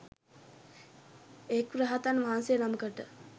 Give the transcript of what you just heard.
එක් රහතන් වහන්සේ නමකට